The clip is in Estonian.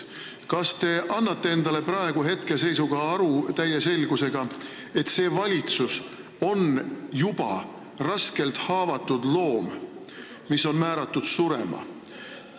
Kas te annate endale praegu täie selgusega aru, et see valitsus on juba raskelt haavatud loom, kes on määratud surema?